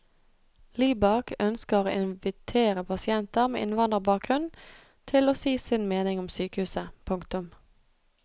Libak ønsker å invitere pasienter med innvandrerbakgrunn til å si sin mening om sykehuset. punktum